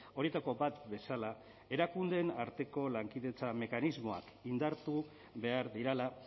horietako bat bezala erakundeen arteko lankidetza mekanismoak indartu behar direla